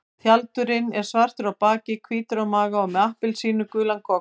Tjaldurinn er svartur á baki, hvítur á maga og með appelsínugulan gogg.